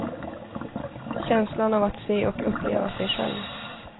Känslan av att se och uppleva sig själv.